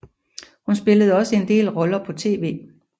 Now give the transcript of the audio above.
Hun spillede også en del roller på tv